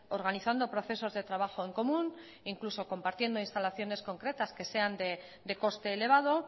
organizando procesos de trabajo en común incluso compartiendo instalaciones concretas que sean de coste elevado